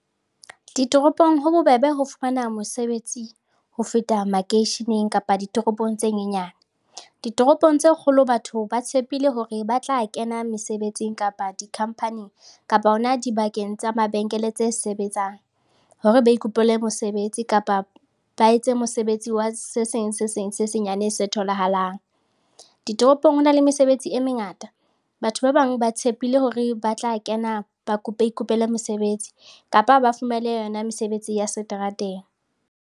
Ditoropong ho bobebe ho fumana mosebetsi ho feta makeisheneng kapa ditoropong tse nyenyane. Ditoropong tse kgolo batho ba tshepile hore ba tla kena mesebetsing kapa dikhampaneng kapa hona dibakeng tsa mabenkele tse sebetsang hore ba ikopele mosebetsi kapa ba etse mosebetsi wa se seng se seng se senyane se tholahalang. Ditoropong ho na le mesebetsi e mengata. Batho ba bang ba tshepile hore ba tla kena ba ikopele mesebetsi kapa ba fumane yona mesebetsi ya seterateng.